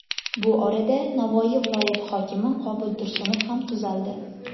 Bu orada Navoiy viloyati hokimi Qobul Tursunov ham tuzaldi .